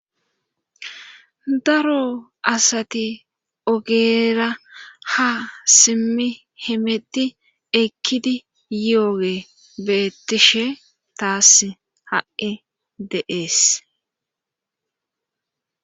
daro asati ogeera ha simmi himeti ekkidi yooge beettishe taas ha7i deees